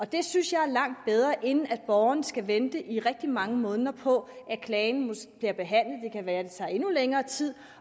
det synes jeg er langt bedre end at borgeren skal vente i rigtig mange måneder på at klagen bliver behandlet det kan være det tager endnu længere tid